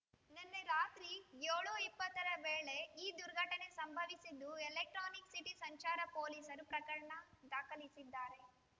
ನಿನ್ನೆರಾತ್ರಿ ಏಳು ಇಪ್ಪತ್ತರ ವೇಳೆ ಈ ದುರ್ಘಟನೆ ಸಂಭವಿಸಿದ್ದು ಎಲೆಕ್ಟ್ರಾನಿಕ್ ಸಿಟಿ ಸಂಚಾರ ಪೊಲೀಸರು ಪ್ರಕರಣ ದಾಖಲಿಸಿದ್ದಾರೆ